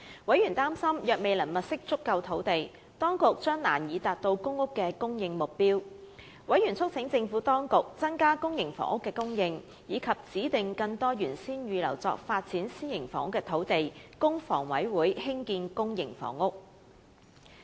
委員擔心，若當局未能物色足夠土地，將難以達到公屋的供應目標。委員促請政府當局增加公營房屋的供應，以及指定更多原先預留作發展私營房屋用途的土地，供香港房屋委員會興建公營房屋。